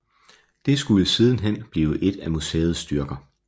Det skulle sidenhen blive til et af museets styrker